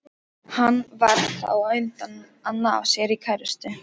Hann varð þá á undan að ná sér í kærustu.